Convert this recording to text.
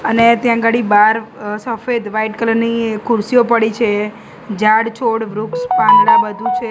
અને ત્યાં અગાડી બાર અ સફેદ વાઈટ કલર ની ખુરશીઓ પડી છે ઝાડ છોડ વૃક્ષ પાંદડા બધું છે.